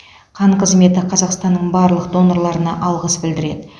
қан қызметі қазақстанның барлық донорларына алғыс білдіреді